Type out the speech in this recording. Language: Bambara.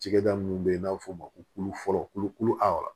Cɛkɛda minnu bɛ yen n'a bɛ f'o ma ko fɔlɔ kolokolo a